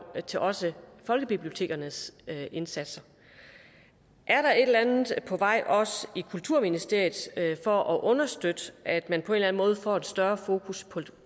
til også folkebibliotekernes indsatser er der et eller andet på vej også i kulturministeriet for at understøtte at man på en måde får et større fokus